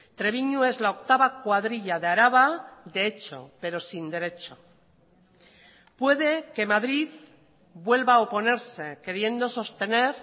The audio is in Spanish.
trebiñu es la octava cuadrilla de araba de hecho pero sin derecho puede que madrid vuelva a oponerse queriendo sostener